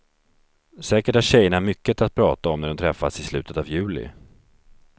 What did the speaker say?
Säkert har tjejerna mycket att prata om när de träffas i slutet av juli.